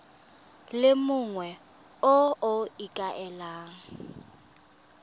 le mongwe yo o ikaelelang